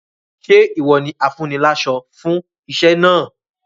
Ṣé ìwọ ni afúniláṣọ fún iṣẹ́ náà?